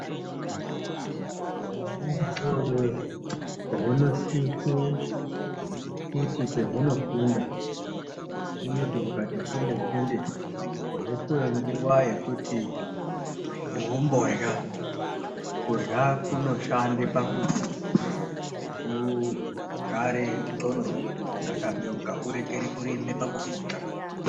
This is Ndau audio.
Hwana hudodori hunosise kuti kwehunofunda hunoti hukati funde-funde hwopuwe nguwa yekuti hwomborya, kurya kunoshande pakuti hugare ndxondo dzakabeuka hurekere kurembe pakufunda.